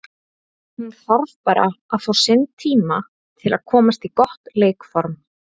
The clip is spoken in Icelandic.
Hún þarf bara að fá sinn tíma til að komast í gott leikform.